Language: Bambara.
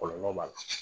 Kɔlɔlɔ b'a la